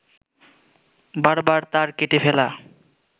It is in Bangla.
বারবার তার কেটে ফেলা